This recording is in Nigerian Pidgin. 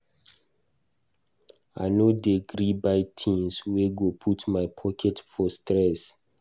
I no dey gree buy tins wey go put my pocket for stress.